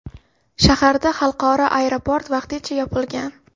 Shaharda xalqaro aeroport vaqtincha yopilgan.